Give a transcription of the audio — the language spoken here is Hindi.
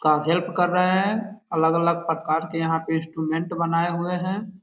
का हेल्प कर रहे हैं अलग-अलग प्रकार के यहाँ पे इंस्ट्रूमेंट बनाए हुए हैं।